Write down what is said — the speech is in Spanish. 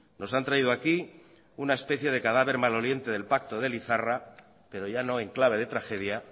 nos han traído aquí una especie de cadáver maloliente del pacto de lizarra pero ya no en clave de tragedia